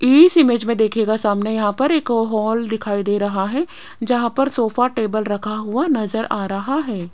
इस इमेज मे देखियेगा सामने यहां पर एक हॉल दिखाई दे रहा है जहां पर सोफा टेबल रखा हुआ नजर आ रहा है।